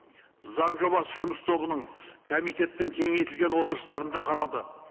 заң жобасы жұмыс тобының комитеттің кеңейтілген отырыстарында қаралды